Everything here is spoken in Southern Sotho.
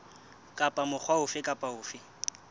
kapa mokga ofe kapa ofe